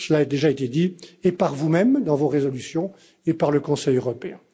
Cela a déjà été dit tant par vous mêmes dans vos résolutions que par le Conseil européen.